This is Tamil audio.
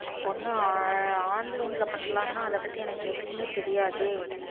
ஒன்னு online ல பண்ணலாம்ன்னா அதபத்தி எனக்கு எதுவுமே தெரியாதே.